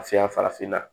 Seya farafinna